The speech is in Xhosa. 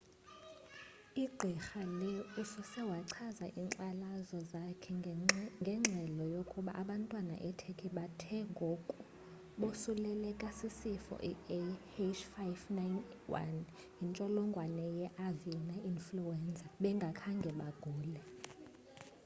i gqirha lee usose wachaza inkxalazo zakhe ngengxelo yokuba abantwana e turkey bathe ngoku bosuleleleka sisifo iah5n1 yintsholongwane ye avina influenza bengakhange bagule